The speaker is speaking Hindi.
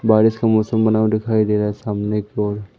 बारिश का मौसम बना हुआ दिखाई दे रहा है सामने की ओर--